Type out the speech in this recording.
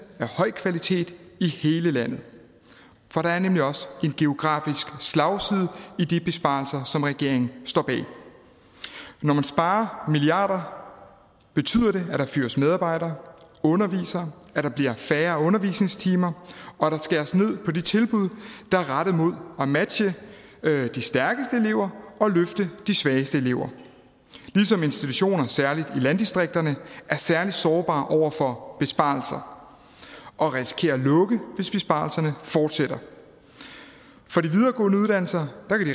af høj kvalitet i hele landet for der er nemlig også en geografisk slagside i de besparelser som regeringen står bag når man sparer milliarder betyder det at der fyres medarbejdere undervisere at der bliver færre undervisningstimer og at der skæres ned på de tilbud der er rettet mod at matche de stærkeste elever og løfte de svageste elever ligesom institutioner særlig i landdistrikterne er særlig sårbare over for besparelser og risikerer at lukke hvis besparelserne fortsætter de videregående uddannelser